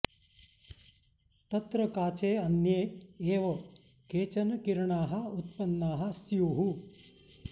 तत्र काचे अन्ये एव केचन किरणाः उत्पन्नाः स्युः